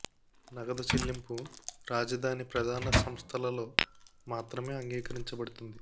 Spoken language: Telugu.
నగదు చెల్లింపు రాజధాని ప్రధాన సంస్థలలో మాత్రమే అంగీకరించబడుతుంది